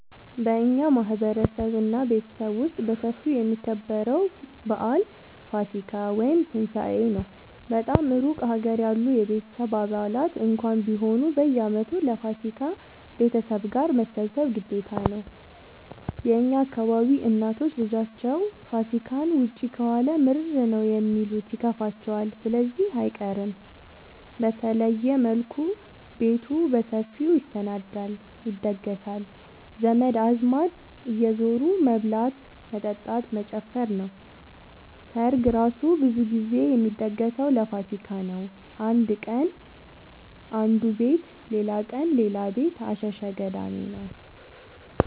በእኛ ማህበረሰብ እና ቤተሰብ ውስጥ በሰፊው የሚከበረው በአል ፋሲካ(ትንሳኤ) ነው። በጣም እሩቅ ሀገር ያሉ የቤተሰብ አባላት እንኳን ቢሆኑ በየአመቱ ለፋሲካ ቤተሰብ ጋር መሰብሰብ ግዴታ ነው። የእኛ አካባቢ እናቶች ልጃቸው ፋሲካን ውጪ ከዋለ ምርር ነው የሚሉት ይከፋቸዋል ስለዚህ አይቀርም። በተለየ መልኩ ቤቱ በሰፊው ይሰናዳል(ይደገሳል) ዘመድ አዝማድ እየዙሩ መብላት መጠጣት መጨፈር ነው። ሰርግ እራሱ ብዙ ግዜ የሚደገሰው ለፋሲካ ነው። አንድ ቀን አነዱ ቤት ሌላቀን ሌላ ቤት አሸሸ ገዳሜ ነው።